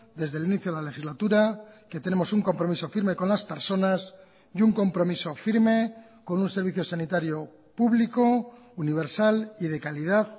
desde el inicio de la legislatura que tenemos un compromiso firme con las personas y un compromiso firme con un servicio sanitario público universal y de calidad